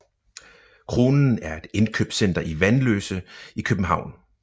Kronen er et indkøbscenter i Vanløse i København